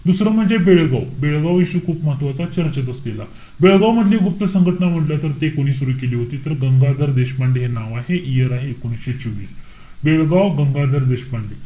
दुसरं म्हणजे बेळगाव. बेळगाव issue खूप महत्वाचा. चर्चेत असलेला. बेळगाव मधली गुप्त संघटना म्हंटल तर, ते कोणी सुरु केली होती. तर गंगाधर देशपांडे हे नाव आहे. Year आहे, एकोणविशे चोवीस. बेळगाव, गंगाधर देशपांडे.